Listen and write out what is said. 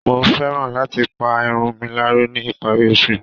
Mo fẹ́ran láti pa irun mi láró ní ìparí oṣù